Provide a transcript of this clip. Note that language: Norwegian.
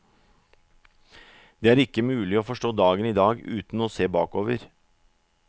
Det er ikke mulig å forstå dagen i dag uten å se bakover.